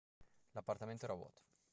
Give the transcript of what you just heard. l'appartamento era vuoto